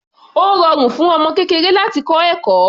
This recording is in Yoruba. Ó rọrùn fún ọmọ kékeré láti kọ́ ẹ̀kọ́.